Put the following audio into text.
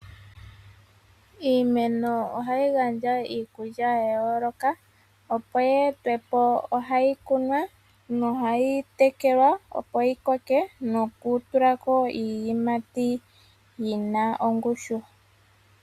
Iimeno ohayi gandja iikulya yaa yooloka opo yi etwe po ohayi kunwa nohayi tekelwa opo yi koke noku tulako iiyimati yina ongushu.